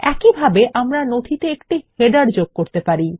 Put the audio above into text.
একইভাবে আমরা নথিতে একটি শিরোলেখ যোগ করা উচিত